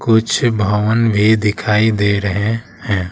कुछ भवन भी दिखाई दे रहे हैं।